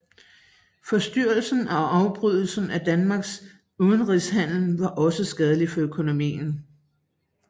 Forstyrrelsen og afbrydelsen af Danmarks udenrigshandel var også skadelig for økonomien